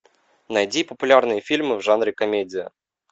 найди популярные фильмы в жанре комедия